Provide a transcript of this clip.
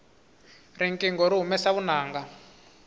riqingho ri humesa vunanga